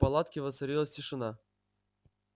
в палатке воцарилась тишина